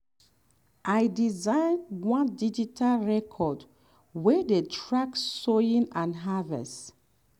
i design one digital record wey dey track sowing and harvest.